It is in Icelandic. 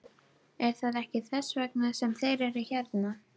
Er það ekki þess vegna sem þeir eru hérna?